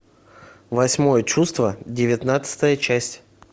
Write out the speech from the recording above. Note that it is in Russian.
восьмое чувство девятнадцатая часть